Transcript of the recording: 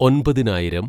ഒൻപതിനായിരം